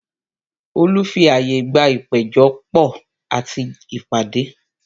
Họlu fi àyè gba ìpéjọ pò àti ìpàdé